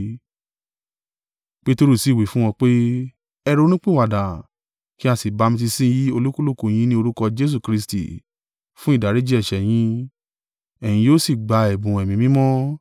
Peteru sì wí fún wọn pé, “Ẹ ronúpìwàdà, kí a sì bamitiisi olúkúlùkù yín ní orúkọ Jesu Kristi fún ìdáríjì ẹ̀ṣẹ̀ yín. Ẹ̀yin yóò sì gba ẹ̀bùn Ẹ̀mí Mímọ́.